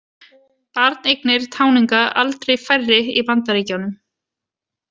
Barneignir táninga aldrei færri í Bandaríkjunum